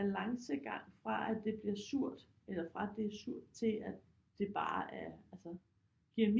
Balancegang fra at det bliver surt eller fra at det er surt til at det bare er altså giver